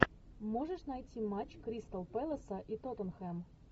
можешь найти матч кристал пэласа и тоттенхэм